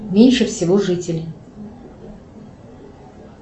меньше всего жителей